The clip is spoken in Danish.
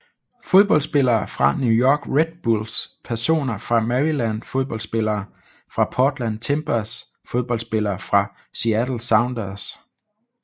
Fodboldspillere fra New York Red Bulls Personer fra Maryland Fodboldspillere fra Portland Timbers Fodboldspillere fra Seattle Sounders